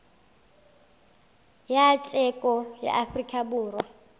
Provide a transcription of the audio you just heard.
ya tsheko ya afrika borwa